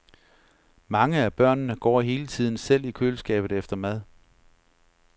Mange af børnene går hele tiden selv i køleskabet efter mad.